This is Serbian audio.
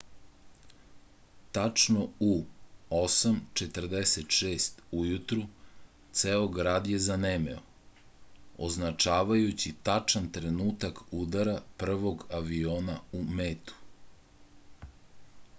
tačno u 8:46 ujutru ceo grad je zanemeo označavajući tačan trenutak udara prvog aviona u metu